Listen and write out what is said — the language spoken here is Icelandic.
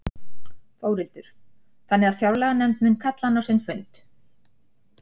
Þórhildur: Þannig að fjárlaganefnd mun kalla hana á sinn fund?